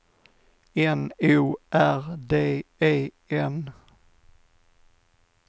N O R D E N